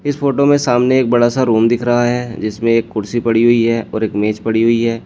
इस फोटो में सामने एक बड़ासा रूम दिख रहा है जिसमें एक कुर्सी पड़ी हुई है और एक मेज पड़ी हुई है।